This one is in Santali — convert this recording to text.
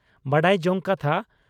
ᱵᱟᱰᱟᱭ ᱡᱚᱝ ᱠᱟᱛᱷᱟ